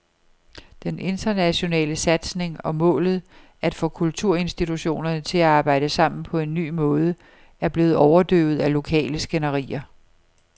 Den internationale satsning og målet, at få kulturinstitutionerne til at arbejde sammen på en ny måde, er blevet overdøvet af lokale skænderier.